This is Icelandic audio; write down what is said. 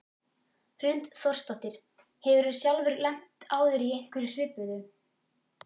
Hrund Þórsdóttir: Hefurðu sjálfur lent áður í einhverju svipuðu?